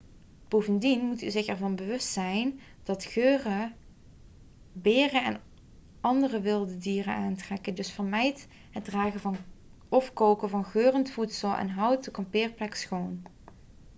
bovendien moet u zich ervan bewust zijn dat geuren beren en andere wilde dieren aantrekken dus vermijd het dragen of koken van geurend voedsel en houd de kampeerplek schoon